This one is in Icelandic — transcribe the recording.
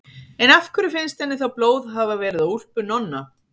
En af hverju finnst henni þá blóð hafa verið á úlpu Nonna?